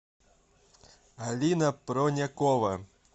алина пронякова